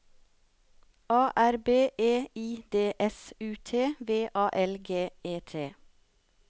A R B E I D S U T V A L G E T